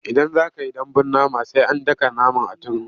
Idan za ka yi dambun nama sai an daka naman a turmi.